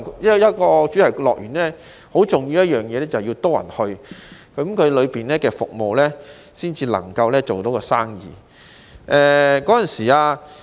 一個主題樂園最重要的就是要有多些訪客，園內的服務才能做到生意。